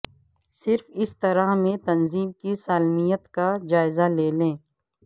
صرف اس طرح میں تنظیم کی سالمیت کا جائزہ لیں گے